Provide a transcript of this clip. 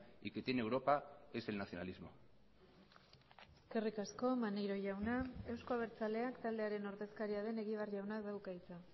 y que tiene europa es el nacionalismo eskerrik asko maneiro jauna euzko abertzaleak taldearen ordezkaria den egibar jaunak dauka hitza